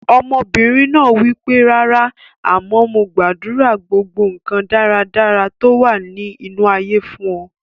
Ọmọbìnrin náà wípé "rárá, àmọ́ mo gbàdúrà gbogbo nkan dáradára tó wà ní inú ayé fún ọ".